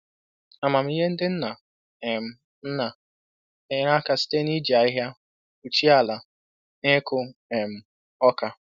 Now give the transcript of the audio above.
Amamihe ndị nna um nna na-enyere aka site n’iji ahịhịa kpuchie ala n’ịkụ um oka